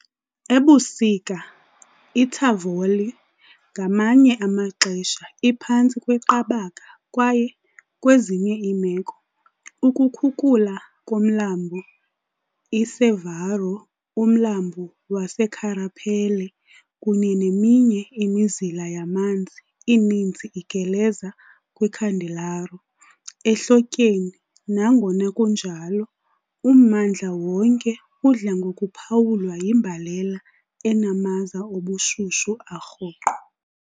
Ebusika iTavoliere ngamanye amaxesha iphantsi kweqabaka kwaye, kwezinye iimeko, ukukhukula komlambo iCervaro, umlambo waseCarapelle kunye neminye imizila yamanzi, ininzi igeleza kwiCandelaro, ehlotyeni, nangona kunjalo, ummandla wonke udla ngokuphawulwa yimbalela enamaza obushushu arhoqo.